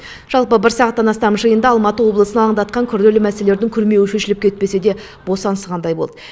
жалпы бір сағаттан астам жиында алматы облысын алаңдатқан күрделі мәселелердің күрмеуін шешіліп кетпеседе босаңсығандай болды